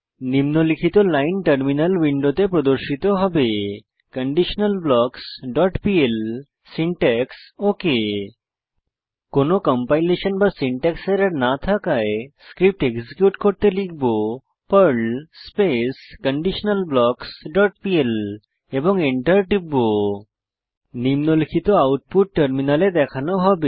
নিম্নলিখিত line terminal উইন্ডোতে প্রদর্শিত হবে conditionalblocksপিএল সিনট্যাক্স ওক কোনো কম্পাইলেশন বা সিনট্যাক্স এরর না থাকায় স্ক্রিপ্ট এক্সিকিউট করতে লিখব Perl space conditional blocks dot PL এবং এন্টার টিপে নিম্নলিখিত আউটপুট টার্মিনালে দেখানো হবে